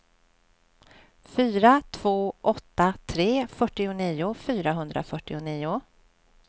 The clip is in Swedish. fyra två åtta tre fyrtionio fyrahundrafyrtionio